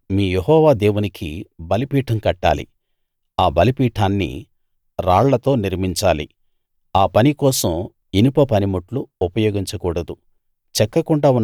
అక్కడ మీ యెహోవా దేవునికి బలిపీఠం కట్టాలి ఆ బలిపీఠాన్ని రాళ్లతో నిర్మించాలి ఆ పని కోసం ఇనుప పనిముట్లు ఉపయోగించకూడదు